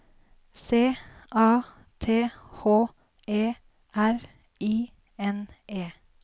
C A T H E R I N E